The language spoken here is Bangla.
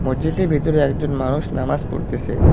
মসজিদের ভেতরে একজন মানুষ নামাজ পড়তেসে।